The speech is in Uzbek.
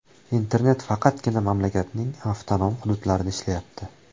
Internet faqatgina mamlakatning avtonom hududlarida ishlayapti.